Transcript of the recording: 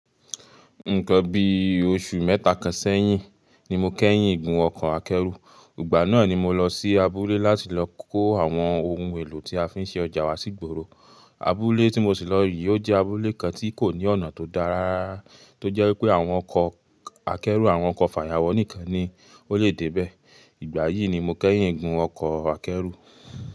Nǹkan bí oṣù mẹ́ta kan sẹ́yìn ni mo kẹ́yìn gun ọkọ̀ akẹ́rù. Ìgbà náà ni mo lọ sí abúlé láti lọ kó àwọn ohun èlò tí a fi ń ṣe ọjà wa sígboro. Abúlé tí mo sì lọ yìí, ó jẹ́ abúlé kan tí kò ní ọ̀nà tó dára tó jẹ́ wípé àwọn ọkọ̀ akẹ́rù àwọn ọkọ fàyàwọ́ nìkan ni ó lè dé bẹ́ẹ̀. Ìgbà yìí ni mo kẹ́yìn igun ọkọ̀ akẹ́rù.